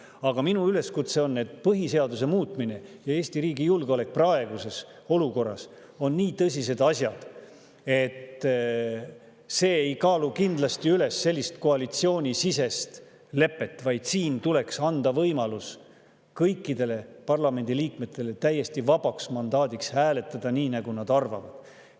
Aga minu üleskutse on see, et kuna põhiseaduse muutmine ja Eesti riigi julgeolek praeguses olukorras on nii tõsised asjad, et see koalitsioonisisene lepe ei kaalu neid kindlasti üles, siis tuleks anda kõikidele parlamendi liikmetele võimalus, täiesti vaba mandaat hääletada nii, nagu nad arvavad.